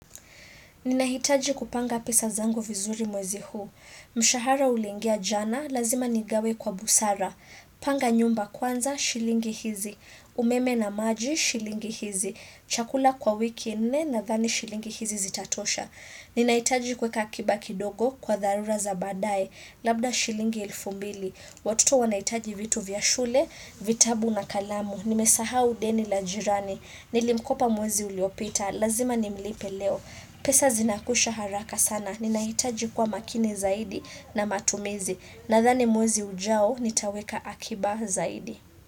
Ninahitaji kupanga pesa zango vizuri mwezi huu. Mshahara ulingia jana, lazima nigawe kwa busara. Panga nyumba kwanza, shilingi hizi. Umeme na maji, shilingi hizi. Chakula kwa wiki nne nadhani shilingi hizi zitatosha. Ninahitaji kueka akiba kidogo kwa tharura za badai. Labda shilingi ilfu mbili. Watoto wanahitaji vitu vya shule, vitabu na kalamu. Nimesaha deni la jirani. Nilimkopa mwezi uliopita. Lazima nimlipe leo. Pesa zinakusha haraka sana. Ninaitaji kwa makinie zaidi na matumizi. Nadhani mwezi ujao nitaweka akiba zaidi.